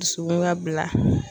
Dusukun ka bila.